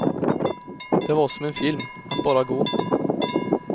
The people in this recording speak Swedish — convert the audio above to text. Det var som en film, att bara gå.